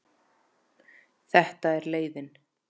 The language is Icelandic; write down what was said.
Þetta er leiðin.